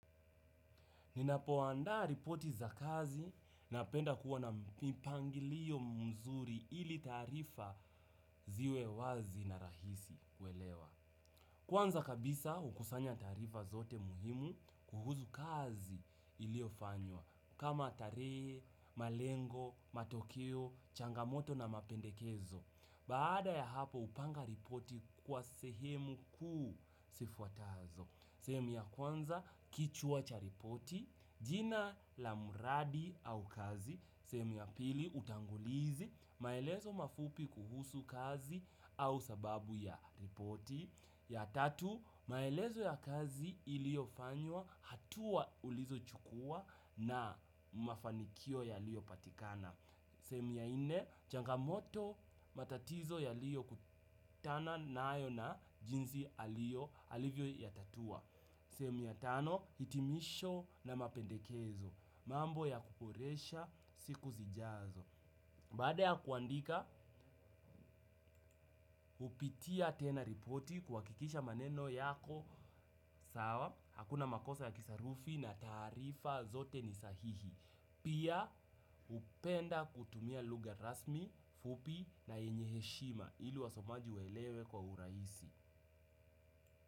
Ninapo andaa ripoti za kazi napenda kuwa na mipangilio mzuri ili taarifa ziwe wazi na rahisi kuelewa. Kwanza kabisa hukusanya taarifa zote muhimu kuhuzu kazi iliyo fanywa. Kama tarehe, malengo, matokeo, changamoto na mapendekezo. Baada ya hapo upanga ripoti kwa sehemu kuu zifuatazo. Sehemu ya kwanza kichwa cha ripoti, jina la muradi au kazi. Sehemu ya pili utangulizi, maelezo mafupi kuhusu kazi au sababu ya ripoti. Ya tatu, maelezo ya kazi iliyofanywa hatua ulizo chukua na mafanikio yaliyopatikana. Sehemu ya ine, changamoto matatizo yaliokutana nayo na jinsi alio alivyo yatatua. Sehemu ya tano hitimisho na mapendekezo, mambo ya kuporesha siku zijazo. Baada ya kuandika, hupitia tena ripoti kuhakikisha maneno yako sawa, hakuna makosa ya kisarufi na taarifa zote ni sahihi. Pia upenda kutumia lugha rasmi, fupi na yenye heshima ili wasomaji waelewe kwa uraisi.